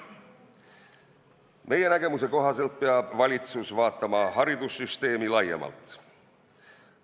Meie nägemuse kohaselt peab valitsus vaatama haridussüsteemi laiemalt.